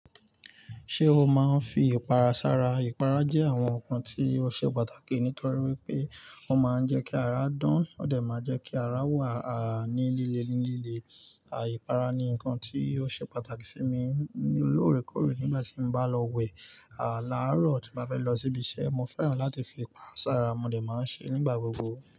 Ṣé o máa ń fi ìpara sára? Ìpara jẹ́ àwọn nǹkan tí ó ṣe pàtàkì nítorí wípé ó máa ń jẹ́ kí ara dán, ó dẹ̀ má jẹ́ kí ara wà ní líle ní líle. À I para ni nǹkan tí ó ṣe pàtàkì sí mi lóòrèkóòrè nígbà tí mo bá lọ wẹ̀. À laarọ tí mo bá fẹ́ lọ síbi iṣẹ́, mo fẹ́ràn láti fi ipara sára, mo dẹ̀ máa ń ṣe nígbà gbogbo.